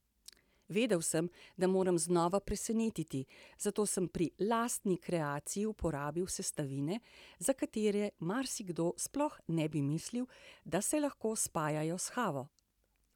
Vedel sem, da moram znova presenetiti, zato sem pri lastni kreaciji uporabil sestavine, za katere marsikdo sploh ne bi mislil, da se lahko spajajo s kavo.